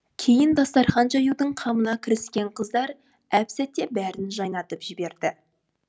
кейін дастархан жаюдың қамына кіріскен қыздар әпсәтте бәрін жайнатып жіберді